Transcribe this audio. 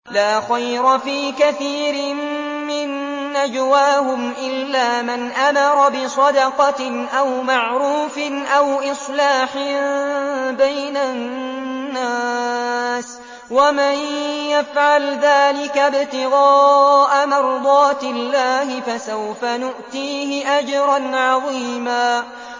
۞ لَّا خَيْرَ فِي كَثِيرٍ مِّن نَّجْوَاهُمْ إِلَّا مَنْ أَمَرَ بِصَدَقَةٍ أَوْ مَعْرُوفٍ أَوْ إِصْلَاحٍ بَيْنَ النَّاسِ ۚ وَمَن يَفْعَلْ ذَٰلِكَ ابْتِغَاءَ مَرْضَاتِ اللَّهِ فَسَوْفَ نُؤْتِيهِ أَجْرًا عَظِيمًا